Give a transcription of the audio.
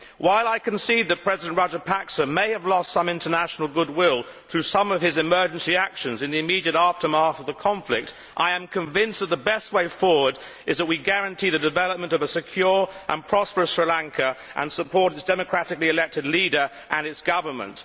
While I concede that President Rajapaksa may have lost some international goodwill through some of his emergency actions in the immediate aftermath of the conflict, I am convinced that the best way forward is to guarantee the development of a secure and prosperous Sri Lanka and support its democratically elected leader and government.